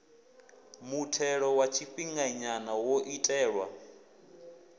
muthelo wa tshifhinganya wo itelwa